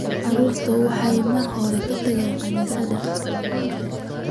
Carruurtu waxay mar hore ka tageen kaniisadda.